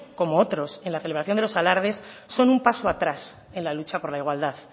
como otros en la celebración de los alardes son un paso atrás en la lucha por la igualdad